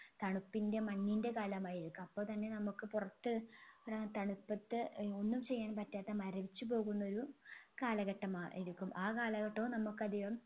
തണുപ്പിൻെറ മഞ്ഞിൻെറ കാലമായിരിക്കാം അപ്പോ തന്നെ നമ്മുക്ക് പുറത്ത് ഏർ തണുപ്പത് ഒന്നും ചെയ്യാൻ പറ്റാത്ത മരവിച്ചു പോകുന്നൊരു കാലഘട്ടമായിരിക്കും ആ കലാഘട്ടവും നമ്മുക്ക് അധികം